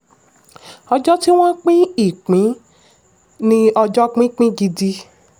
ọjọ́ tí wọ́n pín ìpín ni ọjọ́ pípín gidi.